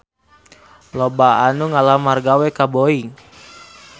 Loba anu ngalamar gawe ka Boeing